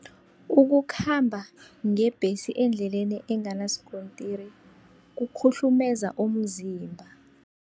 Ukukhamba ngebhesi endleleni enganasikontiri kukhuhlumeza umzimba.